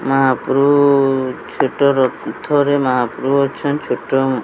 ମାହାପ୍ରଭୁ ଛୋଟ ରଥ ରେ ମାହାପ୍ରଭୁ ଅଛନ୍ତି ଛୋଟ --